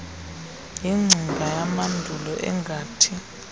yingcinga yamandulo engathi